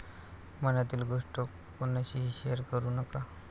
मनातील गोष्ट कोणाशीही शेअर करु नका.